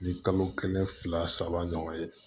Ni kalo kelen fila saba ɲɔgɔn ye